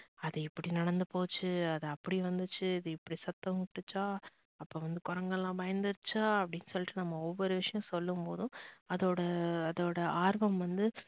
அது இப்படி நடந்து போச்சு அது அப்படி நடந்துச்சு இது இப்படி சத்தம் விட்டுச்சா அப்போ வந்து குரங்குலாம் பயந்துச்சா அப்படின்னு நம்ப ஒரு ஒரு விஷயம் சொல்லும் போதும் அதோட அதோட ஆர்வம் வந்து